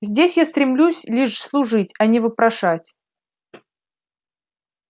здесь я стремлюсь лишь служить а не вопрошать